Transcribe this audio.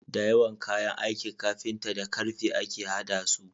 Dayawan kayan aikin carpinta da karfe ake hada su